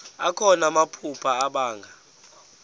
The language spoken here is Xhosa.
akho namaphupha abanga